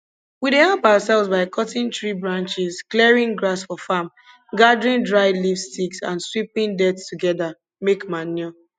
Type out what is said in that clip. we dey help ourselves by cutting tree branches clearing grass for farm gathering dry leaves sticks and sweeping dirt together make manure